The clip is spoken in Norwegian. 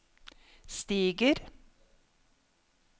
stiger